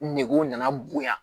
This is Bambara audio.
Negew nana bonya